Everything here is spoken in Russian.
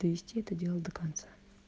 довести это дело до конца